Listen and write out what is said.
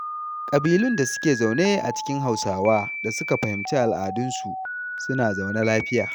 Ƙabilun da suke zaune a cikin Hausawa da suka fahimci al'adunsu, suna zaune lafiya.